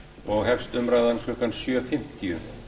og hefst umræðan klukkan sjö fimmtíu